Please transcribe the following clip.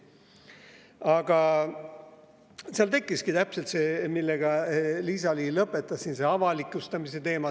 Aga seal tekkis, nagu Liisa-Ly oma kõnet lõpetades ütles, avalikustamise teema.